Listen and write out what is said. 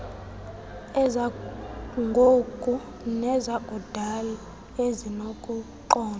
ezangoku nezakudala ezinokuqondwa